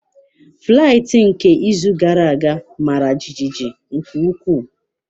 Flaịtị nke izu gara aga mara jijiji nke ukwuu.